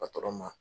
patɔrɔn ma